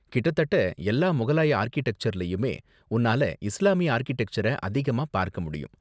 கிட்டதட்ட எல்லா முகலாய ஆர்க்கிடெக்சர்லயுமே, உன்னால இஸ்லாமிய ஆர்க்கிடெக்சர அதிகமா பார்க்க முடியும்.